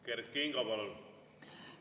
Kert Kingo, palun!